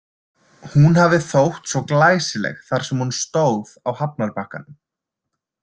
Hún hafi þótt svo glæsileg þar sem hún stóð á hafnarbakkanum.